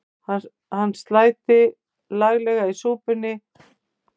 Hann sæti laglega í súpunni ef ég fletti ofan af honum.